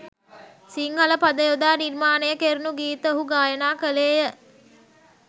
සිංහල පද යොදා නිර්මාණය කෙරුණු ගීත ඔහු ගායනා ක‍ළේය